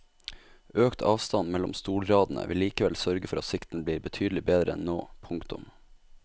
Økt avstand mellom stolradene vil likevel sørge for at sikten blir betydelig bedre enn nå. punktum